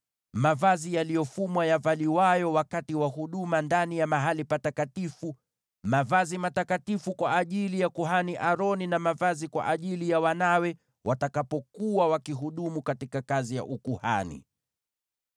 mavazi yaliyofumwa yanayovaliwa wakati wa huduma katika mahali patakatifu, yaani mavazi matakatifu kwa ajili ya kuhani Aroni, na mavazi kwa ajili ya wanawe watakapokuwa wakihudumu katika kazi ya ukuhani.”